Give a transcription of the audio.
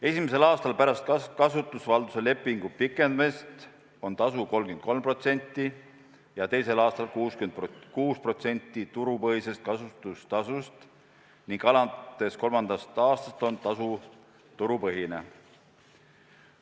Esimesel aastal pärast kasutusvalduse lepingu pikendamist on tasu 33% ja teisel aastal 66% turupõhisest kasutustasust ning alates kolmandast aastast on tasu turupõhine.